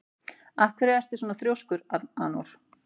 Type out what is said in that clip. Af hverju ertu svona þrjóskur, Anor?